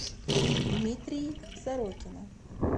дмитрий сорокина